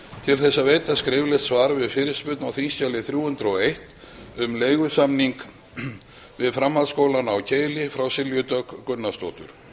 til að veita skriflegt svar við fyrirspurn á þingskjali þrjú hundruð og eitt um leigusamning við framhaldsskólann keili frá silju dögg gunnarsdóttur